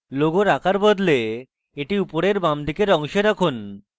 logo আকার বদলান এবং এটি উপরের বাঁদিকের অংশে রাখুন